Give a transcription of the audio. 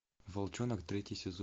волчонок третий сезон